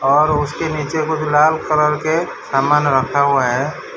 और उसके नीचे कुछ लाल कलर के सामान रखा हुआ है।